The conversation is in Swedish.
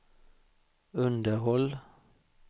underhåll